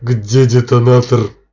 где детонатор